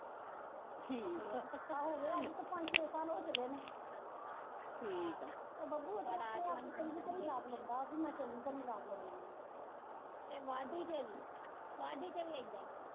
ਹਾਂ ਹੋ ਗਿਆ, ਹੁਣ ਤਾਂ ਪੰਜ-ਛੇ ਸਾਲ ਹੋ ਚੱਲੇ ਨੇ ਤੇ ਬੱਬੂ ਆਪਣੇ ਆਪ ਨੂੰ ਚੰਗੀ ਤਰ੍ਹਾਂ ਈ ਤੇ ਮੈਂ ਚੰਗੀ ਤਰ੍ਹਾਂ ਈ ਲੈਂਦੀ ਆਂ ਤੇ ਵਾਢੀ ਤੇ ਵੀ ਵਾਢੀ ਤੇ ਵੀ ਏਦਾਂ ਈ